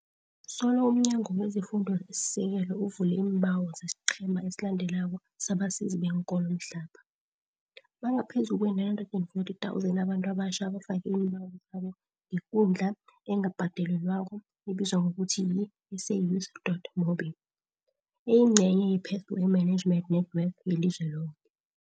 Solo umNyango wezeFundo esiSekelo uvulele iimbawo zesiqhema esilandelako sabasizi beenkolo mhlapha, bangaphezulu kwee-940 000 abantu abatjha abafake iimbawo zabo ngekundla engabhadalelwako ebizwa ngokuthi yi-SAYouth dot mobi, eyingcenye ye-Pathway Management Network yelizwe loke.